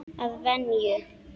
Að venju.